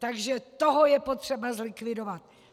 Takže toho je potřeba zlikvidovat!